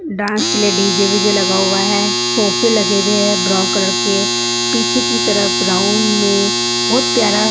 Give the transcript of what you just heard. dance के लिए DJ VJ लगा हुआ है सोफे लगे हुए है ब्राउन कलर के पीछे की तरफ राउंड में बोहोत प्यारा--